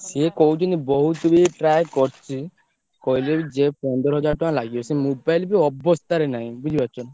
ସେ କହୁଛନ୍ତି ବହୁତ୍ ବି try କରିଛି କହିଲେ କି ଯେ ପନ୍ଦର୍ ହାଜ଼ାର୍ ଟଙ୍କା ଲାଗିବ। ସେ mobile ବି ଅବସ୍ତା ରେ ନାଇଁ ବୁଝି ପାରୁଛ ନା।